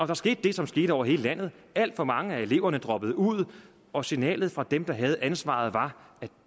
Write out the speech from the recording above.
der skete det som skete over hele landet alt for mange af eleverne droppede ud og signalet fra dem der havde ansvaret var at